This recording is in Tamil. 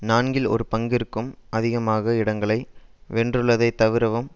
நான்கில் ஒரு பங்கிற்கும் அதிகமாக இடங்களை வென்றுள்ளதை தவிரவும்